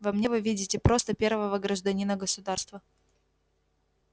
во мне вы видите просто первого гражданина государства